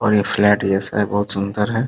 और ये फ्लैट जैसा है बहुत सुन्दर है ।